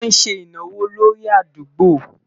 wón sé ìnáwó lórí àdúgbo